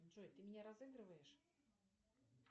джой ты меня разыгрываешь